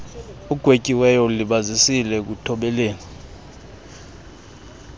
ugwetyiweyo ulibazisile ekuthobeleni